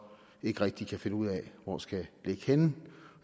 ikke rigtig kan finde ud af hvor skal ligge henne